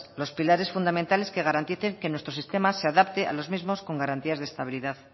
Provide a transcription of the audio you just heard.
los pilares fundamentales que garanticen que nuestro sistema se adapte a los mismos con garantías de estabilidad